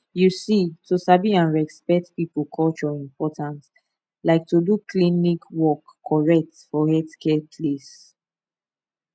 you see to sabi and respect people culture important like to do klinik work correct for healthcare place